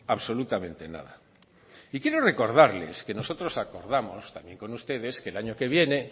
absolutamente nada y quiero recordarles que nosotros acordamos también con ustedes que el año que viene